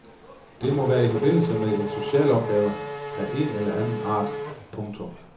Det må være i forbindelse med en specialopgave af én eller anden art. punktum